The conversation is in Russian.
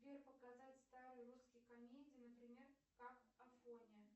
сбер показать старые русские комедии например как афоня